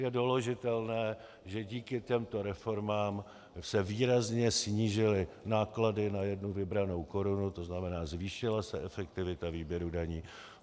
Je doložitelné, že díky těmto reformám se výrazně snížily náklady na jednu vybranou korunu, to znamená zvýšila se efektivita výběru daní.